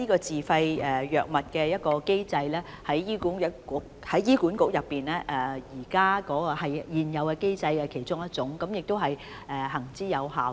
自費藥物機制是醫管局現有的其中一種機制，是行之有效的。